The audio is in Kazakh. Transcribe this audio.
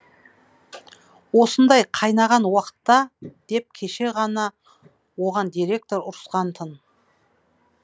осындай қайнаған уақытта деп кеше оған директор ұрысқан ды